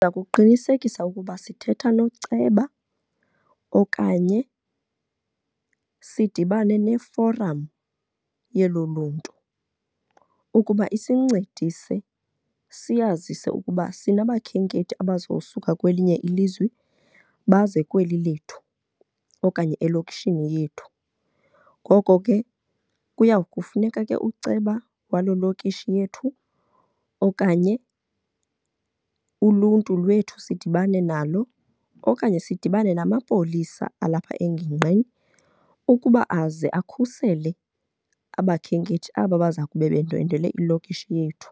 Ndiza kuqinisekisa ukuba sithetha noceba okanye sidibane neforam yelo luntu ukuba isincedise siyazise ukuba sinabakhenkethi abazosuka kwelinye ilizwe baze kweli lethu okanye elokishini yethu. Ngoko ke kuya kufuneka ke uceba waloo lokishi yethu okanye uluntu lwethu sidibane nalo okanye sidibane namapolisa alapha engingqini ukuba aze akhusele abakhenkethi aba baza kube bendwendwele ilokishi yethu.